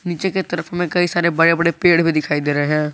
पीछे के तरफ में कई सारे बड़े बड़े पेड़ भी दिखाई दे रहे हैं।